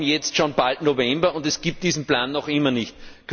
Wir haben jetzt schon bald November, und es gibt diesen Plan noch immer nicht.